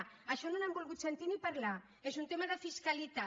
d’això no n’han volgut sentir ni parlar és un tema de fiscalitat